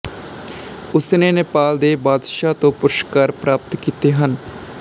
ਉਸ ਨੇ ਨੈਪਾਲ ਦੇ ਬਾਦਸ਼ਾਹ ਤੋਂ ਪੁਰਸਕਾਰ ਪ੍ਰਾਪਤ ਕੀਤੇ ਹਨ